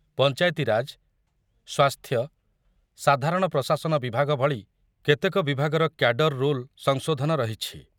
ପଞ୍ଚାୟତିରାଜ, ସ୍ୱାସ୍ଥ୍ୟ, ସାଧାରଣ ପ୍ରଶାସନ ବିଭାଗ ଭଳି କେତେକ ବିଭାଗର କ୍ୟାଡର ରୁଲ୍ ସଂଶୋଧନ ରହିଛି।